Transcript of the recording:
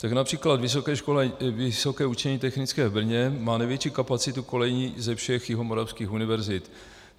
Tak například Vysoké učení technické v Brně má největší kapacitu kolejí ze všech jihomoravských univerzit.